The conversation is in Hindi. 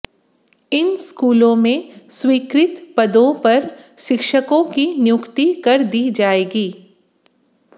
इन स्कूलों में स्वीकृत पदों पर शिक्षकों की नियुक्ति कर दी जाएगी